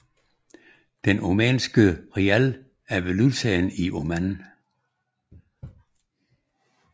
Den Omanske rial er valutaen i Oman